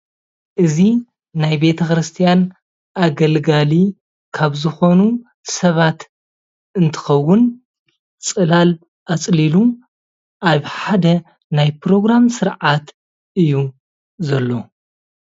እዚ ናይ ቤተኽርስትያን አገልጋሊ ካብ ዝኾኑ ስባት እንትኸውን ፀላል አፀሊሉ አብ ሓደ ናይ ፕሮግራም ስርዓት እዩ ዘሎ፡፡